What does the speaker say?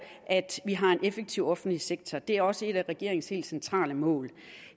at vi har en effektiv offentlig sektor det er også et af regeringens helt centrale mål